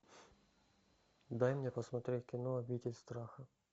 дай мне посмотреть кино обитель страха